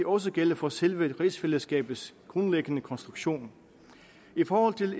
også gælde for selve rigsfællesskabets grundlæggende konstruktion i forhold til